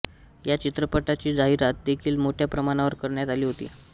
ह्या चित्रपटाची जाहिरात देखील मोठ्या प्रमाणावर करण्यात आली होती